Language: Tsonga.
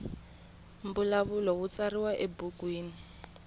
mbulavulo wu tsariwa ebukwini